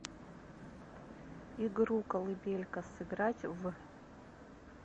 игру колыбелька сыграть в